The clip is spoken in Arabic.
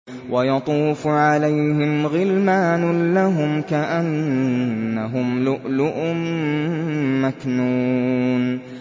۞ وَيَطُوفُ عَلَيْهِمْ غِلْمَانٌ لَّهُمْ كَأَنَّهُمْ لُؤْلُؤٌ مَّكْنُونٌ